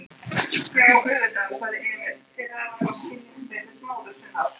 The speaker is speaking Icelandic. Já, auðvitað, sagði Emil, pirraður vegna skilningsleysis móður sinnar.